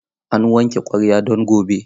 Ana wanke ƙwarya don gobe.